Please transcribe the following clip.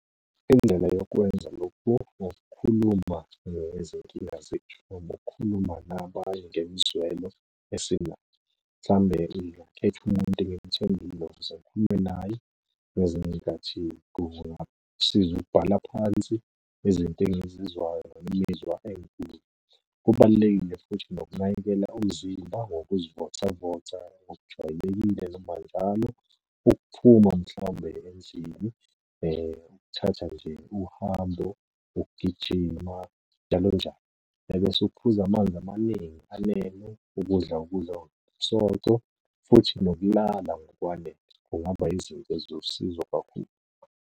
Indlela yokwenza lokhu ngokukhuluma ngezinkinga zethu, noma ukukhuluma nabanye ngemizwelo esinayo. Mhlawumbe ngingakhetha umuntu engimthembile ngikhulume naye. Ngezinye iy'nkathi kungasiza ukubhala phansi izinto engizizwayo noma imizwa . Kubalulekile futhi nokunakekela umzimba ngokuzivocavoca ngokujwayelekile noma njalo, ukuphuma mhlawumbe endlini ukuthatha nje uhambo, ukugijima njalo njalo. Ebese ukuphuza amanzi amaningi anele, ukudla ukudla okunomsoco, futhi nokulala ngokwanele kungaba izinto eziwusizo kakhulu.